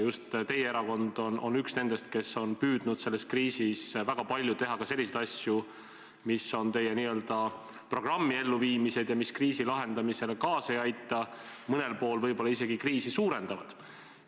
Just teie erakond on üks nendest, kes on püüdnud selles kriisis väga palju teha ka selliseid asju, mis on sihitud teie programmi elluviimisele, aga mis kriisi lahendamisele kaasa ei aita, mõnel pool võib-olla isegi süvendavad kriisi.